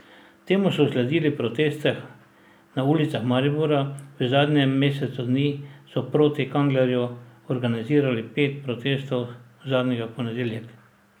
Temu so sledili protesti na ulicah Maribora, v zadnjem mesecu dni so proti Kanglerju organizirali pet protestov, zadnjega v ponedeljek.